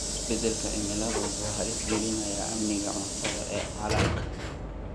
Isbeddelka cimilada wuxuu halis gelinayaa amniga cuntada ee caalamka.